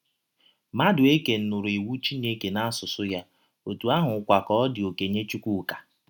Madụeke nụrụ iwụ Chineke n’asụsụ ya, ọtụ ahụkwa ka ọ dị ọkenye Chụkwụka. ”